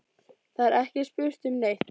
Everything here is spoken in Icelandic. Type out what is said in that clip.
Það er ekki spurt um neitt.